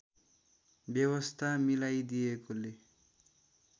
व्यवस्था मिलाइदिएकोले